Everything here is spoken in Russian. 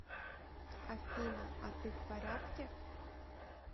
афина а ты в порядке